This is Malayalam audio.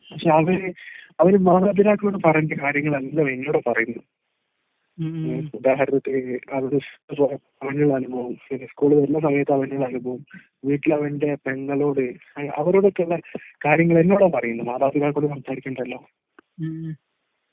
പക്ഷേ അവര്‌ അവര്‌ മാതാപിതാക്കളോട് പറയേണ്ട കാര്യങ്ങളെല്ലാം എന്നോടാ പറയുന്നത്. ഉദാഹരണത്തിന് സ്‌കൂള് തുറന്ന സമയത്തു അവൻ്റെ അനുഭവം, വീട്ടിൽ അവൻ്റെ പെങ്ങളോട് അവരോടെക്കെയുള്ള കാര്യങ്ങൾ എന്നോടാ പറയുന്നത്. മാതാപിതാക്കളോട് സംസാരിക്കേണ്ടത് എല്ലാം